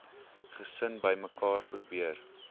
gesin bymekaar probeer